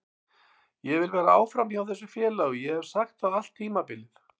Ég vil vera áfram hjá þessu félagi og ég hef sagt það allt tímabilið.